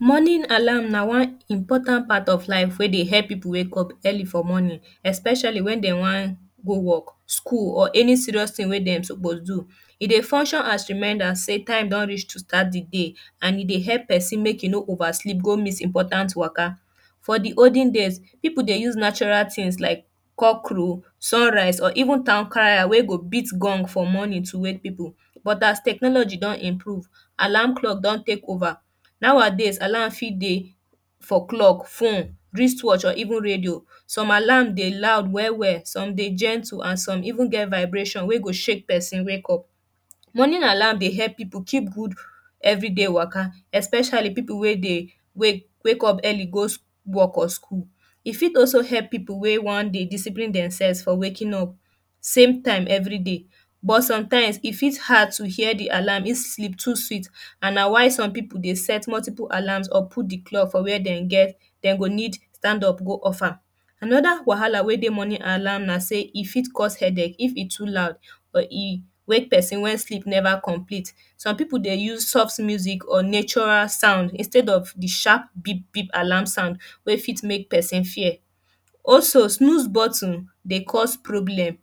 morning alarm na one important part of life wey dey make people wake up for morning especially wen dey one go work school or any serious thing wey dem suppose do e dey function as reminda sey time don reach to start de day and e dey help person make e no ova sleep go miss important waka for de olden days people de use natural things like cock crow sun rise or even town crier wey go beat gong for morning to wake people but as technology don improve alarm clock don take ova now adays alarm fit dey for clock fem wrist watch or even radio some alarm dey loud well well some dey gentle and some even get vibration wey go shake person wake up morning alarm dey help people keep good every day waka especially people wey dey wake wake up early go work or school e fit also dey help people wey one dey discipline dem sef for waking up same time everyday but sometimes e fit hard to hear de alarm if sleep too sweet and na why somepeople dey set multiple alarms or put de clock on wey dem get dem go need stand up go off am anoda wahala wey dey morning na sey e fit cause headache if e too loud for heeb wake person wey sleep neva complete some people dey use soft music or natural sound instead of de sharp beep beep alarm sound wey fit make person fear also snooze button dey cause problem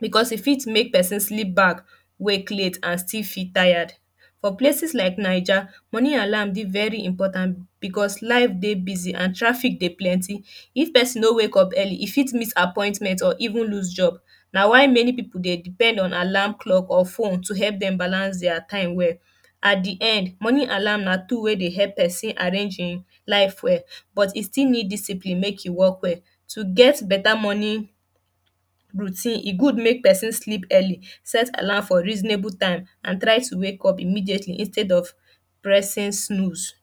because e fit make person sleep back wake late and still feel tire for places like naija morning alarm dey very important becos life dey busi and trafic dey plenty if person no wake up early e fiit miss appointment or even lose job na why many people dey depend on alarm clock or phone to help dem balance dier time well at de end morning alarm na tool wey de help person arrange im life well but you still need discipline make you work well to get beta morning routine e good make person sleep early set alarm for reasonable time and try towake upimmediately instead of pressing snooze